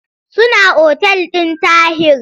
Suna otal ɗin Tahir.